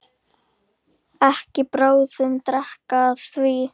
En bráðum dregur að því.